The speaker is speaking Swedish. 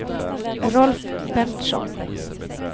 Rolf Berntsson